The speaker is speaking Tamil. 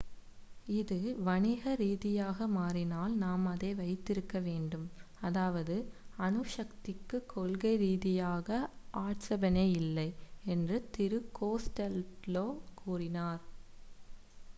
"""இது வணிக ரீதியாக மாறினால் நாம் அதை வைத்திருக்க வேண்டும். அதாவது அணுசக்திக்குக் கொள்கை ரீதியாக ஆட்சேபனை இல்லை "என்று திரு கோஸ்டெல்லோ கூறினார்.